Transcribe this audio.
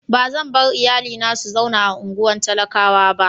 Ba zan bar iyalina su zauna a unguwan talakawa ba.